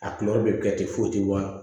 A de bɛ kɛ ten foyi tɛ wa